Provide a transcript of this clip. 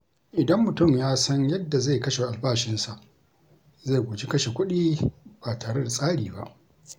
Idan mutum ya san yadda zai kashe albashinsa, zai guji kashe kuɗi ba tare da tsari ba.